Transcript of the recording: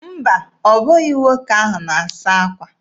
Mba, ọ bụghị nwoke ahụ na-asa akwa.